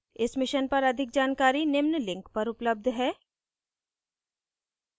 इस mission पर अधिक जानकारी निम्न लिंक पर उपलब्ध है